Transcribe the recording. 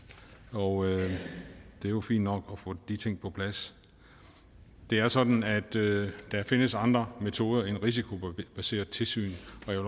og det er jo fint nok at få de ting på plads det er sådan at der findes andre metoder end det risikobaserede tilsyn